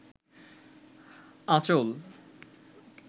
আঁচল